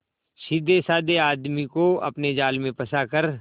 सीधेसाधे आदमी को अपने जाल में फंसा कर